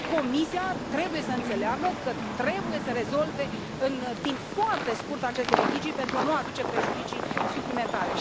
Comisia trebuie să înțeleagă că trebuie să rezolve în timp foarte scurt aceste litigii pentru a nu aduce prejudicii suplimentare.